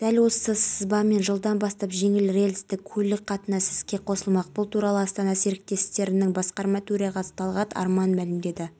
қазақстанның мұнай кен орындарын барлау және қара алтынды өндіру ісі жетілдіріле түспек бұл бағытта бізге италиялық